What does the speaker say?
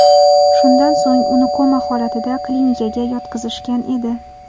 Shundan so‘ng uni koma holatida klinikaga yotqizishgan edi.